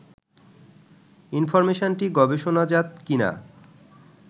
ইনফরমেশনটি গবেষণাজাত কি না